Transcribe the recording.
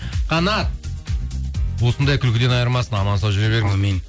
қанат осындай күлкіден айырмасын аман сау жүре